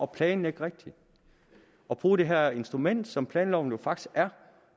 planlægge rigtigt og bruge det her instrument som planloven jo faktisk er